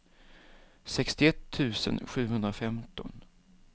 sextioett tusen sjuhundrafemton